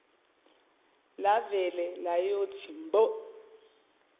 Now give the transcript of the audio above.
lavele layothi mbo